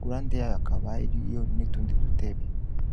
gurande yaboakabariiyo n'itundi dutebe.